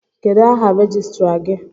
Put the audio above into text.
Kedụ áhà rejistra gị?